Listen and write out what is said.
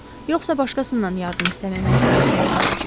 Yoxsa başqasından yardım istəməyə məcburiyyətində qalacağıq.